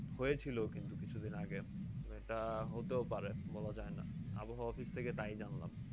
হয়েছিল কিছুদিন আগে। তা হতেও পারে বলা যায় না আবহাওয়া office থেকে তাই জানলাম।